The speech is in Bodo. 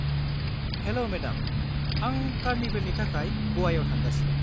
हेल' मेडाम, आं कार्निभेलनि थाखाय ग'वाआव थांगासिनो।